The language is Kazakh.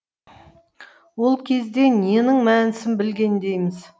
ол кезде ненің мәнісін білгендейміз